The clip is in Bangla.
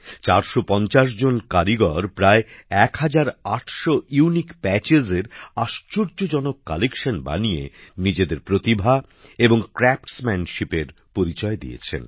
৪৫০ জন কারিগর প্রায় ১৮০০ নতুন ধরণের নকশা কাপড়ের উপর ফুটিয়ে তুলে আশ্চর্যজনক কালেকশন বানিয়ে নিজেদের প্রতিভা এবং কারুশিল্পে দক্ষতার পরিচয় দিয়েছেন